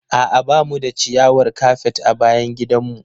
A'a ba mu da ciyawar kafet a bayan gidanmu.